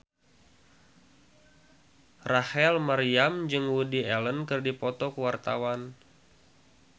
Rachel Maryam jeung Woody Allen keur dipoto ku wartawan